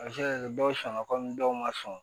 A bɛ se ka kɛ dɔw sɔnna komi dɔw ma sɔn